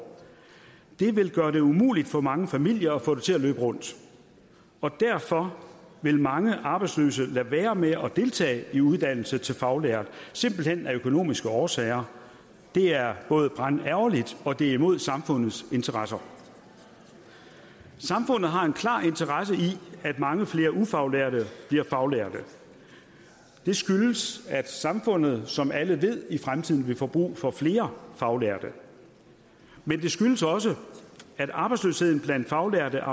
vil gøre det umuligt for mange familier at få det til at løbe rundt og derfor vil mange arbejdsløse lade være med at deltage i uddannelse til faglært simpelt hen af økonomiske årsager det er både brandærgerligt og det er imod samfundets interesser samfundet har en klar interesse i at mange flere ufaglærte bliver faglærte det skyldes at samfundet som alle ved i fremtiden vil få brug for flere faglærte men det skyldes også at arbejdsløsheden blandt faglærte